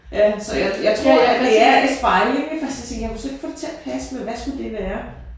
Ja så jeg jeg tror det er en spejling ik for først så tænkte jeg jeg kunne slet ikke få det til at passe med hvad skulle det være